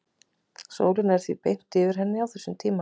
sólin er því beint yfir henni á þessum tíma